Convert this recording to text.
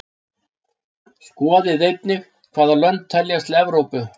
Skoðið einnig: Hvaða lönd teljast til Evrópu?